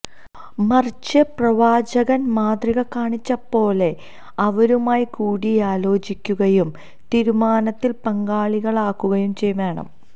മറിച്ച് പ്രവാചകന് മാതൃക കാണിച്ചപോലെ അവരുമായി കൂടിയാലോചിക്കുകയും തീരുമാനത്തില് പങ്കാളികളാക്കുകയും വേണം